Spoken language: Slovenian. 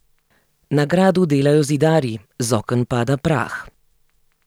Na gradu delajo zidarji, z oken pada prah.